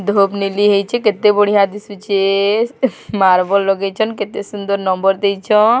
ଧୁପ ନିଲି ହେଇଛେ କେତେ ବଢିିଆ ଦିଶୁଛେ ଏ ମାର୍ବଲ ଲଗେଇଛନ କେତେ ସୁନ୍ଦର ନମ୍ବର ଦେଇଛନ।